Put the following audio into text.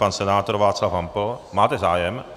Pan senátor Václav Hampl má zájem.